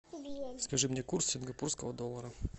скажи мне курс сингапурского доллара